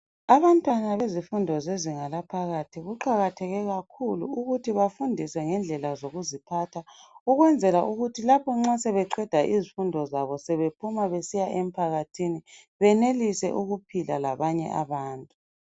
Abantwana bezifundo zezinga laphakathi kuqakatheke kakhulu ukuthi bafundiswe ngendlela zokuziphatha ukwenzela ukuthi lapho nxa sebeqeda izifundo zabo sebephuma besiya emphakathini benelise ukuphila labanye abantu